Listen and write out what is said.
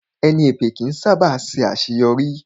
Ẹni èpè ó kí ń sá bà ṣe àṣéyọrí